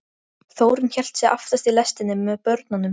Þórunn hélt sig aftast í lestinni með börnunum.